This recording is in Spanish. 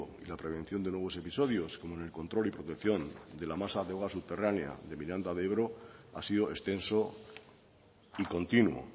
y la prevención de nuevos episodios como en el control y protección de la masa de agua subterránea de miranda de ebro ha sido extenso y continuo